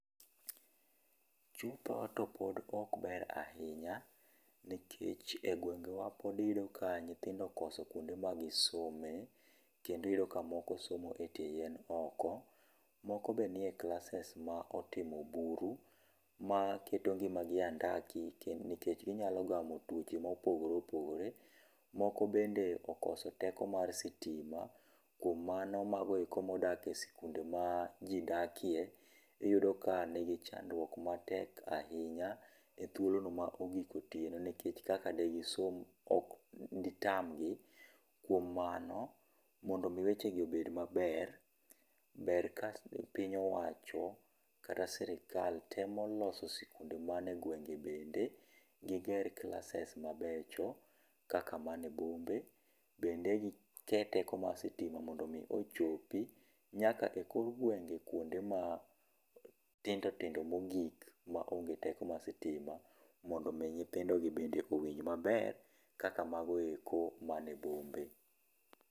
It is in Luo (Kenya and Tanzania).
Chutho to pod ok ber ahinya ,nikech e gwengewa pod iyudo ka nyithindo okoso kuonde ma gi some, kendo iyudo ka moko somo e tie yien oko, moko be nie klases ma otimo buru, ma keto ngima gi e andaki nikech gi nya gamo twoche ma opogore opogore. Moko bende okoso teko mar stima kuom mano mago eko ma odak e skunde ma ji dakie iyudo ka ni gi chandurok matek ahinya e thuolo no ma ogik otieno nikech kaka de gi som de tamgi. Kuom mano mondo mi weche gi obed maber, ber ka piny owacho kata sirkal temo loso skunde mane e gwenge bende gi ger klases mabecho kaka ni e bombe bende gi ket teko mar stima mondo ochopi nyaka e kor gwenge kuonde ma tindo tindo mogik ma onge teko mar stima mondo nyithindo gi owinj maber ka mane go ma ni e bombe.